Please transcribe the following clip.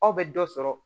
Aw bɛ dɔ sɔrɔ